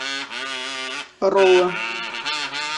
роллы